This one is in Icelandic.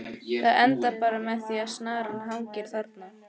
Það endar bara með því að snaran hangir þarna!